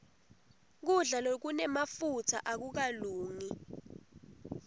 kudla lokunemafutsa akukalungi